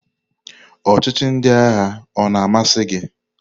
Ọchịchị ndị agha o na-amasị gị?